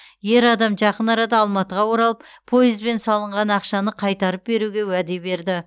ер адам жақын арада алматыға оралып пойызбен салынған ақшаны қайтарып беруге уәде берді